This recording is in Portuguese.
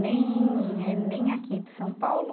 nem eh, nem aqui de São Paulo.